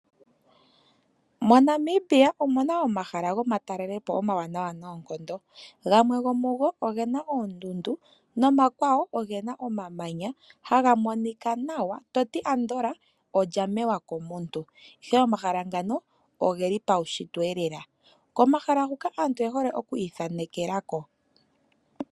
Mo Namibia omuna omahala gwomatalelepo omawanawa noonkondo gamwe go mugo ogena oondundu nomakwawo ogena omamanya haga monika nawa toti ando olya mewa komuntu ihe omahala ngano ogeli paushintwe iyelela, komahala huka aantu oye hole okwi ithanekelako.